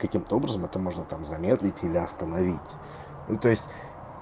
каким-то образом это можно там замедлить или остановить ну то есть